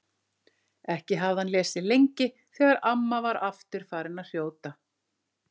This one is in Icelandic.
Ekki hafði hann lesið lengi þegar amma var aftur farin að hrjóta.